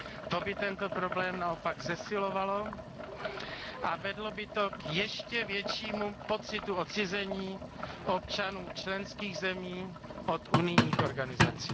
To by tento problém naopak zesilovalo a vedlo by to k ještě většímu pocitu odcizení občanů členských zemí od unijních organizací.